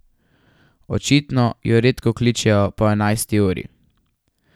Očitno ju redko kličejo po enajsti uri.